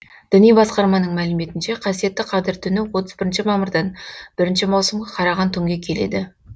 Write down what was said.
діни басқарманың мәліметінше қасиетті қадір түні отыз бірінші мамырдан бірінші маусымға қараған түнге келеді